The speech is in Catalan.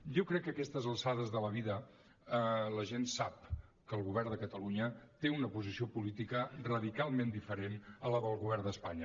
jo crec que a aquestes alçades de la vida la gent sap que el govern de catalunya té una posició política radicalment diferent de la del govern d’espanya